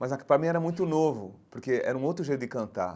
Mas é que para mim era muito novo, porque era um outro jeito de cantar.